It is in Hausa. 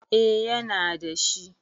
A ya na dashi